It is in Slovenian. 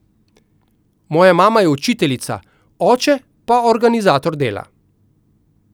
Moja mama je učiteljica, oče pa organizator dela.